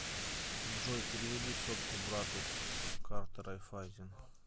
джой переведи сотку брату с карты райффайзен